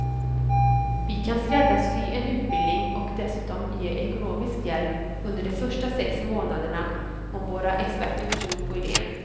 Vi kan skräddarsy en utbildning och dessutom ge ekonomisk hjälp under de första sex månaderna om våra experter tror på idén.